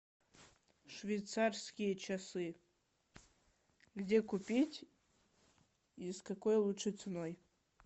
швейцарские часы где купить и с какой лучше ценой